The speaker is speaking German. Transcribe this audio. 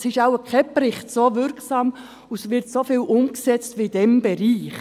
Es ist wohl kein Bericht so wirksam und es wird wohl nirgendwo sonst so viel umgesetzt wie in diesem Bereich.